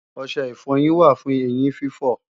Ọṣẹ ìfọyín wà fún eyín fífọ̀